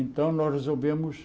Então, nós resolvemos...